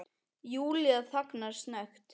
Júlía þagnar snöggt.